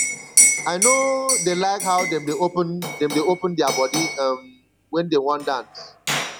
i no dey like how dem dey open dem dey open their body um wen dey wan dance